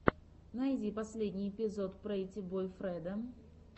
найди последний эпизод прэтти бой фредо